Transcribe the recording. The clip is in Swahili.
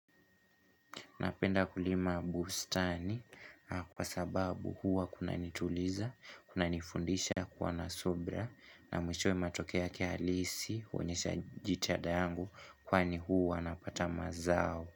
Napenda kulima bustani kwa sababu huwa kuna nituliza, kuna nifundisha kuwa na subra na mwishoe matokeo halisi huonyesha jitada yangu kwani huwa napata mazao.